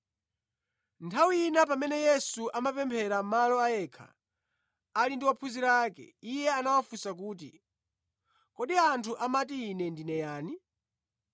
Nthawi ina pamene Yesu amapemphera malo a yekha ali ndi ophunzira ake, Iye anawafunsa kuti, “Kodi anthu amati Ine ndine yani?”